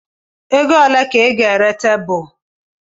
Ego ole ka ị ga-ere tebụl?